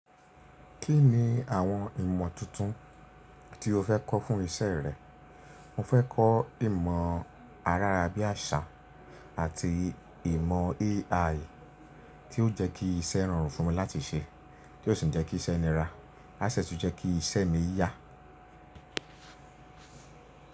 Kí ni àwọn ìmọ̀ tuntun tí o fẹ́ kọ́ fún iṣẹ́ rẹ? Mo fẹ́ kọ́ ìmọ̀ ayarábíàṣá àti ìmọ̀ AI tí ó jẹ́ kí iṣẹ́ rọrùn fún mi láti ṣe, tí ó sì jẹ́ kí iṣẹ́ nira, á sì tún jẹ́ kí iṣẹ́ mi yá.